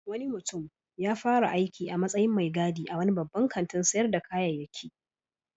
Wani mutum ya fara aiki a matsyin mai gadi a wani babban kantin sayar da kayayyaki